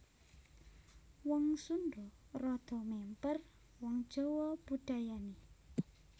Wong Sundha rada mèmper wong Jawa budayané